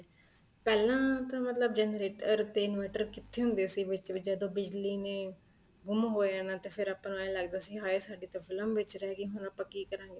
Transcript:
ਪਹਿਲਾਂ ਤਾਂ ਮਤਲਬ generator ਤੇ inverter ਕਿੱਥੇ ਹੁੰਦੇ ਸੀ ਵਿੱਚ ਵਿੱਚ ਜਦੋਂ ਬਿਜਲੀ ਨੇ ਗੁੰਮ ਹੋ ਜਾਣਾ ਤੇ ਫ਼ੇਰ ਆਪਾਂ ਨੂੰ ਐ ਲੱਗਦਾ ਸੀ ਹਾਏ ਸਾਡੀ ਤਾਂ ਫ਼ਿਲਮ ਵਿੱਚ ਰਹਿ ਗਈ ਹੁਣ ਆਪਾਂ ਕੀ ਕਰਾਗੇ